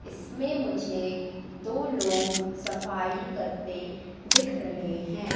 इसमें मुझे दो लोग सफाई करते दिख रहे हैं।